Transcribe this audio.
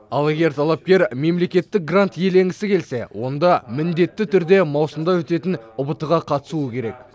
ал егер талапкер мемлекеттік грант иеленгісі келсе онда міндетті түрде маусымда өтетін ұбт ға қатысуы керек